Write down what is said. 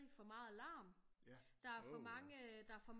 For meget larm der for mange øh for mange om